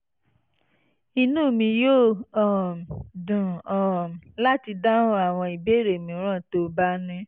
inú mi yóò um dùn um láti dáhùn àwọn ìbéèrè mìíràn tó o bá ní